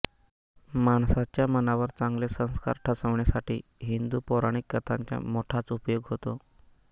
माणसाच्या मनावर चांगले संस्कार ठसवण्यासाठी हिंदू पौराणिक कथांचा मोठाच उपयोग होतो